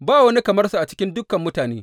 Ba wani kamar sa a cikin dukan mutane.